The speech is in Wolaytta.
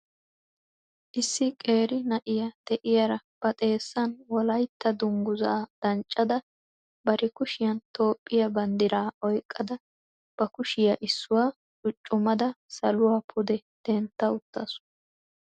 Issi qeeri na'iyaa de'iyaara ba xeessan wolaytta dungguzaa danccada bari kushiyaan Toophiya banddira oyqqada ba kushiyaa issuwa cuccumada saluwa pude dentta uttaasu.